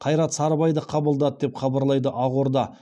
қайрат сарыбайды қабылдады деп хабарлайды ақорда